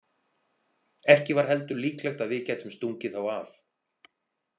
Ekki var heldur líklegt að við gætum stungið þá af.